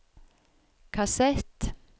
kassett